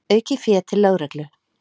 Aukið fé til lögreglu